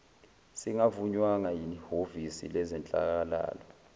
singavunywanga yihhovisi lezenhlalakahle